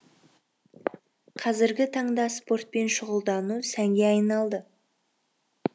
қазіргі таңда спортпен щұғылдану сәнге айналды